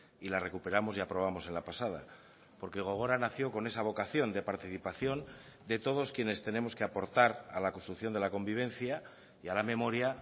y la recuperamos y aprobamos en la pasada porque gogora nació con esa vocación de participación de todos quienes tenemos que aportar a la construcción de la convivencia y a la memoria